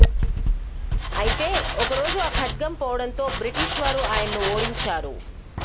అయితే ఒకరోజు ఆ ఖడ్గం పోవడంతో బ్రిటిష్ వారు ఆయన్ను ఓడించారు